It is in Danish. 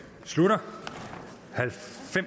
slutter